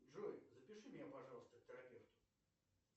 джой запиши меня пожалуйста к терапевту